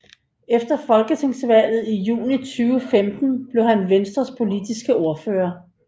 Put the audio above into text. Efter folketingsvalget i juni 2015 blev han Venstres politiske ordfører